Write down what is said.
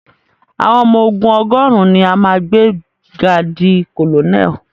Àwọn ọmọ ogún ọgọ́rùn ni a máa gbé ga di colonel.